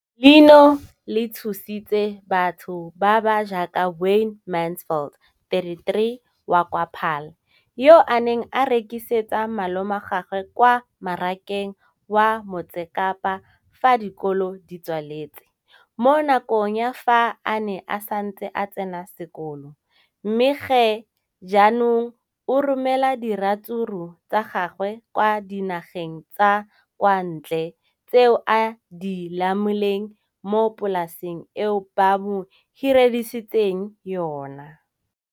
Leno le thusitse batho ba ba jaaka Wayne Mansfield, 33, wa kwa Paarl, yo a neng a rekisetsa malomagwe kwa Marakeng wa Motsekapa fa dikolo di tswaletse, mo nakong ya fa a ne a santse a tsena sekolo, mme ga jaanong o romela diratsuru tsa gagwe kwa dinageng tsa kwa ntle tseo a di lemileng mo polaseng eo ba mo hiriseditseng yona.